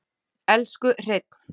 Elsku Hreinn.